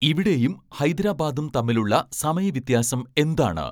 ഇവിടെയും ഹൈദരാബാദും തമ്മിലുള്ള സമയ വ്യത്യാസം എന്താണ്